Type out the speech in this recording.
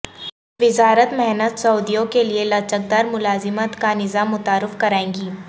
وزارت محنت سعودیوں کیلئے لچکدار ملازمت کا نظام متعارف کرائےگی